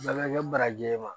Bɛɛ bɛ kɛ baraji ma